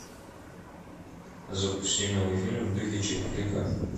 запусти милый фильм в духе чикфлика